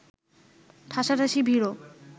ঠাঁসাঠাঁসি ভিড়ও